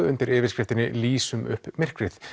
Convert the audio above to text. undir yfirskriftinni lýsum upp myrkrið